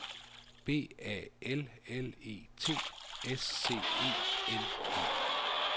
B A L L E T S C E N E